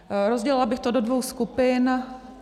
Rozdělila bych to do dvou skupin.